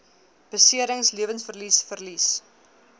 beserings lewensverlies verlies